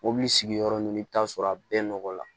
Mobili sigiyɔrɔ ɲini i bɛ t'a sɔrɔ a bɛɛ nɔgɔ la